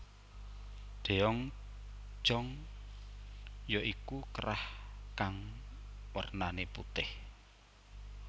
Deong Jong ya iku kerah kang wernane putih